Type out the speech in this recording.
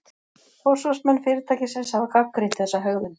Forsvarsmenn fyrirtækisins hafa gagnrýnt þessa hegðun